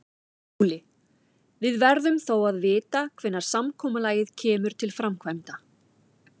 SKÚLI: Við verðum þó að vita hvenær samkomulagið kemur til framkvæmda.